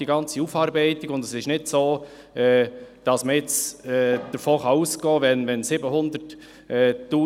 Die ganze Aufarbeitung ergibt einen riesigen Aufwand.